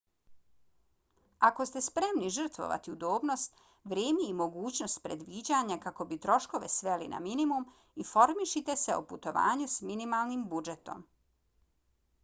ako ste spremni žrtvovati udobnost vrijeme i mogućnost predviđanja kako bi troškove sveli na minimum informišite se o putovanju s minimalnim budžetom